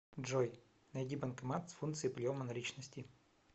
джой найди банкомат с функцией приема наличности